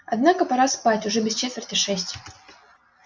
однако пора спать уже без четверти шесть